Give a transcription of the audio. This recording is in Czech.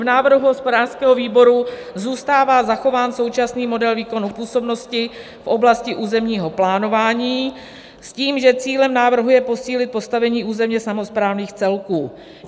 V návrhu hospodářského výboru zůstává zachován současný model výkonu působnosti v oblasti územního plánování s tím, že cílem návrhu je posílit postavení územně samosprávných celků.